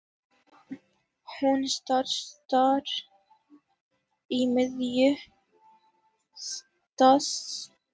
Hún stansar í miðju dansspori.